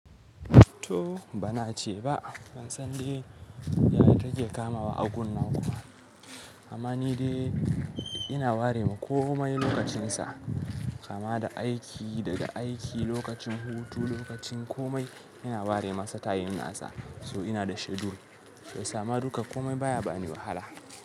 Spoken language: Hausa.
To bana ce ba, ban san da yana take kamawa agun nan kuma. Amma ni dai ina ware ma komai lokacin sa, kama da aiki daga aiki, lokacin hutu, lokacin komai ina ware masa tayin nasa. So ina da schedule. Sai sama duka komai baya bani wahala.